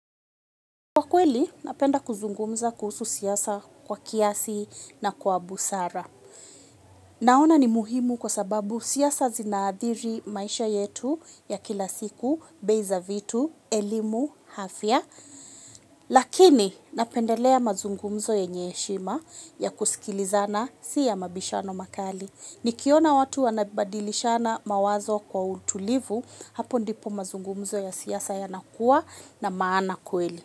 Kwa kweli, mapenda kuzungumza kuhusu siasa kwa kiasi na kwa busara. Naona ni muhimu kwa sababu siasa zinaathiri maisha yetu ya kila siku, bedhaa zetu, elimu, afya. Lakini, napendelea mazungumzo yenye heshima ya kusikilizana si ya mabishano makali. Nikiona watu wanabadilishana mawazo kwa utulivu, hapo ndipo mazungumzo ya siasa yanakuwa na maana kweli.